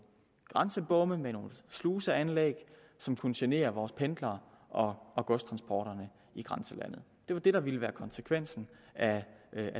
grænsebomme med nogle sluseanlæg som kunne genere vores pendlere og og godstransporterne i grænselandet det var det der ville blive konsekvensen af